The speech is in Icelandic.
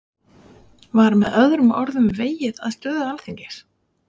Var með öðrum orðum vegið að stöðu Alþingis?